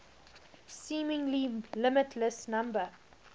seemingly limitless number